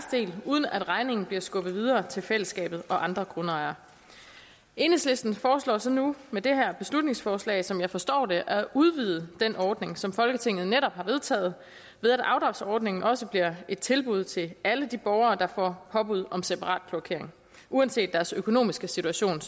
del uden at regningen bliver skubbet videre til fællesskabet og andre grundejere enhedslisten foreslår så nu med det her beslutningsforslag sådan som jeg forstår det at udvide den ordning som folketinget netop har vedtaget ved at afdragsordningen også bliver et tilbud til alle de borgere der får påbud om separat kloakering uanset deres økonomiske situation